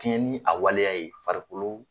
Tiɲɛnni a waleya ye farikolo